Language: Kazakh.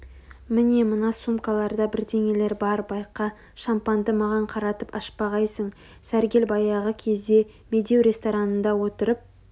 міне мына сумкаларда бірдеңелер бар байқа шампанды маған қаратып ашпағайсың сәргел баяғы кезде медеу ресторанында отырып